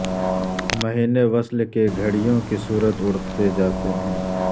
مہینے وصل کے گھڑیوں کی صورت اڑتے جاتے ہیں